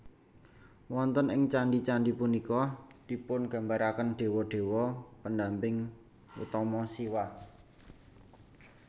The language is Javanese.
Wonten ing candhi candhi punika dipungambaraken dewa dewa pendamping utama Siwa